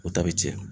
O ta bɛ tiɲɛ